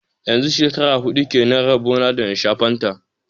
Yanzu shekara huɗu kenan rabo na da na sha fanta